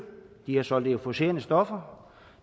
de har solgt euforiserende stoffer